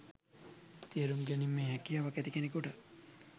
තේරුම් ගැනීමේ හැකියාව ඇති කෙනෙකුට